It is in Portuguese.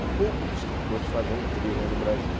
Tem poucos escritores fazendo thriller no Brasil.